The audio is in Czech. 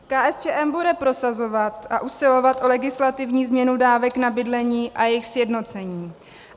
KSČM bude prosazovat a usilovat o legislativní změnu dávek na bydlení a jejich sjednocení.